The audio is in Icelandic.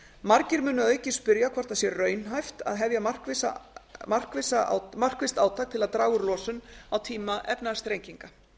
margir munu að auki spyrja hvort það sé raunhæft að hefja markvisst átak til að draga úr losun á tíma efnahagsþrenginga